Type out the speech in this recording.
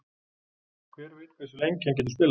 Hver veit hversu lengi hann getur spilað?